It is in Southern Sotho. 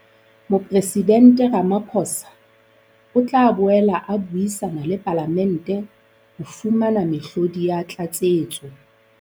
Mopresidente Ramaphosa o tla boela a buisana le Palamente ho fumana mehlodi ya tlatsetso.